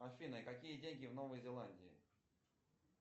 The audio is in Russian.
афина какие деньги в новой зеландии